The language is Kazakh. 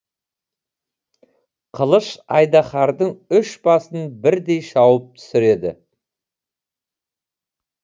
қылыш айдаһардың үш басын бірдей шауып түсіреді